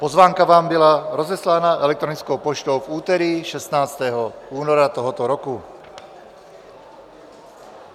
Pozvánka vám byla rozeslána elektronickou poštou v úterý 16. února tohoto roku.